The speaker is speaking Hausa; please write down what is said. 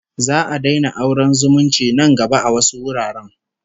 Za'a daina auren zumunci nan gaba a wasu wuraren